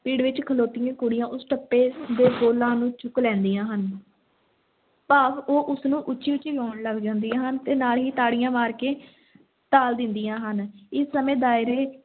ਪਿੜ ਵਿੱਚ ਖਲੋਤੀਆਂ ਕੁੜੀਆਂ ਉਸ ਟੱਪੇ ਦੇ ਬੋਲਾਂ ਨੂੰ ਚੁੱਕ ਲੈਂਦੀਆਂ ਹਨ ਭਾਵ ਉਹ ਉਸ ਨੂੰ ਉੱਚੀ-ਉੱਚੀ ਗਾਉਣ ਲੱਗ ਜਾਂਦੀਆਂ ਹਨ ਤੇ ਨਾਲ ਹੀ ਤਾੜੀਆਂ ਮਾਰ ਕੇ ਤਾਲ ਦਿੰਦੀਆਂ ਹਨ, ਇਸੇ ਸਮੇਂ ਦਾਇਰੇ